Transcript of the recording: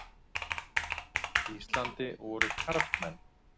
Íslandi voru karlmenn.